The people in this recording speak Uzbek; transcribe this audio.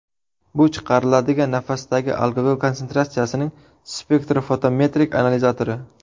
Bu chiqariladigan nafasdagi alkogol konsentratsiyasining spektrofotometrik analizatori.